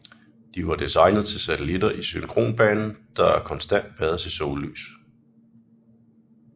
De var designet til satellitter i synkronbanen der konstant bades i sollys